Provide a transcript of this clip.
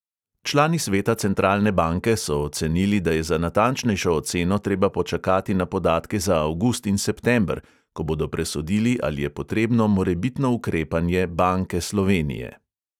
Člani sveta centralne banke so ocenili, da je za natančnejšo oceno treba počakati na podatke za avgust in september, ko bodo presodili, ali je potrebno morebitno ukrepanje banke slovenije.